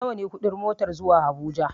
Nawa ne ƙudin motar zuwa habuja?